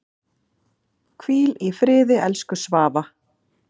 Hvíl í friði, elsku Svava.